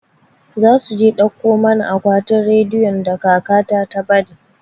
Za su je a dauko mana akwatin rediyon da kaka ta ta bari